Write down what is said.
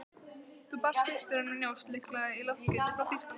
Þá barst skipstjóranum njósn, líklega í loftskeyti frá Þýskalandi.